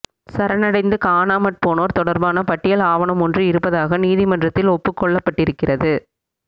சரணடைந்து காணாமற்போனோர் தொடர்பான பட்டியல் ஆவணம் ஒன்று இருப்பதாக நீதிமன்றத்தில் ஒப்புக்கொள்ளப்பட்டிருக்கிறது